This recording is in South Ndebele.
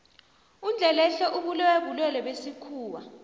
undlelehle ubulewe bulwelwe besikhuwa